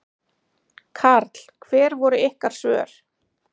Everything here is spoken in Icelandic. Karl: Hver voru ykkar svör?